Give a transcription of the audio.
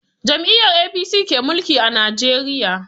Jam'iyyar APC ke mulki a Najeriya.